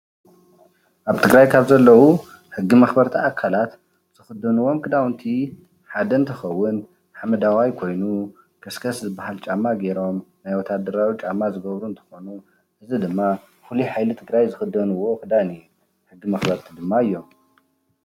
ኣብ ትግራይ ካብ ዘለዉ ሕጊ መኽበርቲ ኣካላት ዝኽደንዎም ክዳውንቲ ሓደ እንትኸውን ሐመዳዋይ ኮይኑ ከስክስ ዝበሃል ጫማ ገይሮም ናይ ወታደራዊ ጫማ ዝገብሩ እንትኾኑ እዚ ድማ ፍሉይ ሓይሊ ትግራይ ዝኽደንዎ ክዳን እዩ፡፡ ሕጊ መኽበርቲ ድማ እዮም፡፡